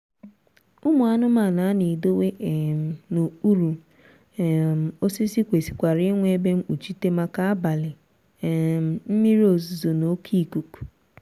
ụmụ anụmanụ a na-edowe um n'okpuru um osisi kwesịrịkwara inwe ebe mkpuchite maka abalị um mmiri ozuzo na oké ikuku